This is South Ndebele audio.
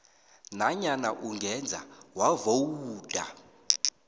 nanyana ungeze wavowuda